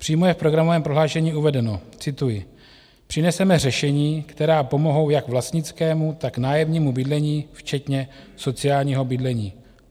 Přímo je v programovém prohlášení uvedeno, cituji: "Přineseme řešení, která pomohou jak vlastnickému, tak nájemnímu bydlení včetně sociálního bydlení."